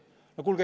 No kuulge!